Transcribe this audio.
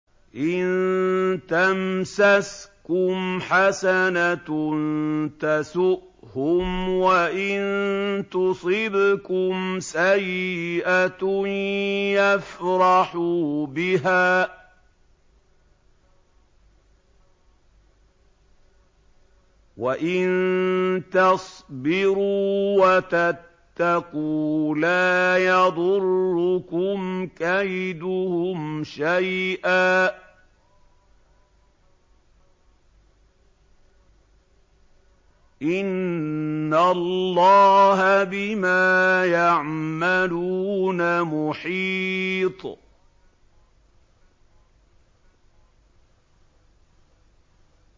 إِن تَمْسَسْكُمْ حَسَنَةٌ تَسُؤْهُمْ وَإِن تُصِبْكُمْ سَيِّئَةٌ يَفْرَحُوا بِهَا ۖ وَإِن تَصْبِرُوا وَتَتَّقُوا لَا يَضُرُّكُمْ كَيْدُهُمْ شَيْئًا ۗ إِنَّ اللَّهَ بِمَا يَعْمَلُونَ مُحِيطٌ